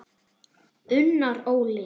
Unnar Óli.